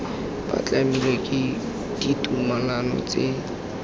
ba tlamilwe ke ditumalano tsa